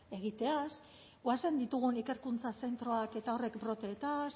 egiteaz goazen ditugun ikerkuntza zentroak eta horrek broteez